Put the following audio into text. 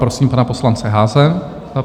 Prosím pana poslance Haase.